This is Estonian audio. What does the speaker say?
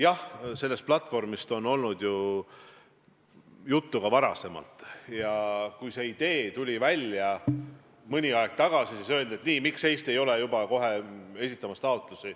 Jah, sellest platvormist on ka varem juttu olnud ja kui see idee mõni aeg tagasi välja tuli, siis küsiti, miks Eesti kohe taotlusi pole esitanud.